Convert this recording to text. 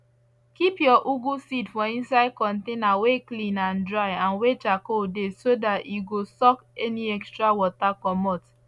keep your ugu seed for inside container wey clean and dry and wey charcoal dey so that e go suck any extra water comot